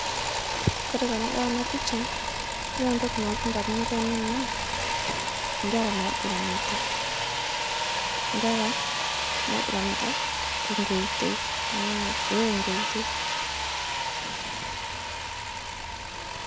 Kore tenadol ena picha, iyolo ntoki nalotu indamunot aainei naa, inkera naiguranita, inkera naiguranita tenkoitoi tenaa, eee tenkoitoi.